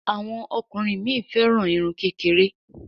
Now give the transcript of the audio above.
Àwọn ọkùnrin mí féràn Irun kékeré.